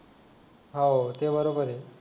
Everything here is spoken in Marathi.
हो ते बरोबर आहे